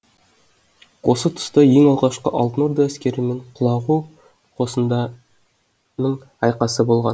осы тұста ең алғашқы алтын орда әскерімен құлағу қосындарының айқасы болған